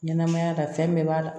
Ɲɛnɛmaya la fɛn bɛɛ b'a la